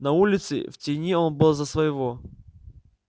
на улице в тени он был за своего